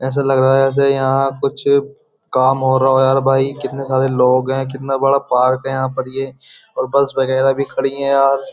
ऐसा लग रहा है जैसे यहां कुछ काम हो रहा हो यार भाई कितने सारे लोग हैं कितना बड़ा पार्क है यहां पर ये और बस वगैरह भी खड़ी है यार।